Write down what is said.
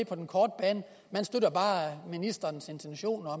på den korte bane man støtter bare ministerens intentioner og